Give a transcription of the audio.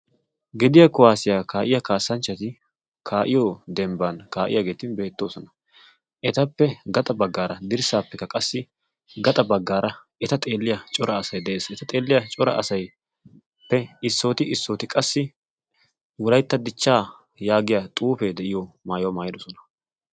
Gediya kuwaasiyaa kaa'iya kaassanchchati kaa'iyo dembban kaa'iyaageeti beettoosona etappe gaxa baggaara dirssaappekka qassi gaxa baggaara eta xeelliya cora asai de'ees. eta xeelliya cora asaippe issooti issooti qassi wolaytta dichchaa yaagiya xuufee de'iyo maayuwaa maayidosona.